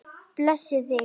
Blessi þig.